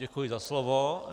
Děkuji za slovo.